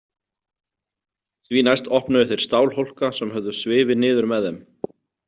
Því næst opnuðu þeir stálhólka sem höfðu svifið niður með þeim.